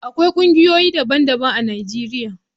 Akwai kungiyoyi daban-daban a Najeriya.